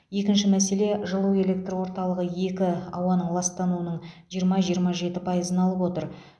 екінші мәселе жылу электор орталығы екі ауаның ластануының жиырма жиырма жеті пайызын алып отыр